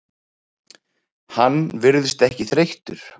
Hann virðist ekki þreyttur.